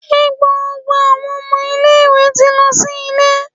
Njẹ gbogbo awọn ọmọ ile-iwe ti lọ si ile?